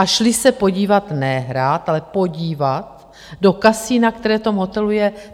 A šli se podívat, ne hrát, ale podívat do kasina, které v tom hotelu je.